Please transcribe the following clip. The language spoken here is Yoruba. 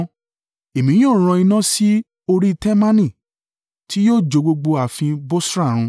Èmi yóò rán iná sí orí Temani, tí yóò jó gbogbo ààfin Bosra run.”